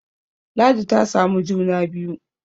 ladi ta samu juna biyu